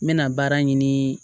N bɛna baara ɲini